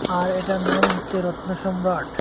আর এটার নাম হচ্ছে রত্ন সম্রাট।